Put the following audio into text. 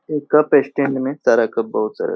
ए cup stand में सारा cup बहोत सारा।